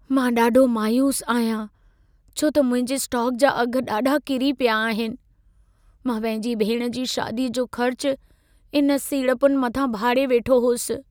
मां ॾाढो मायूस आहियां छो त मुंहिंजे स्टॉक जा अघ ॾाढा किरी पिया आहिन। मां पंहिंजी भेण जी शादीअ जो ख़र्च इन सीड़पुनि मथां भाड़े वेठो हुअसि।